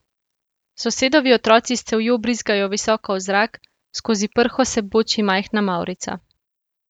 Sosedovi otroci s cevjo brizgajo visoko v zrak, skozi prho se boči majhna mavrica.